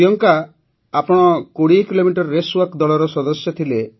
ପ୍ରିୟଙ୍କା ଆପଣ ୨୦ kilometre race walk ଦଳର ସଦସ୍ୟ ଥିଲେ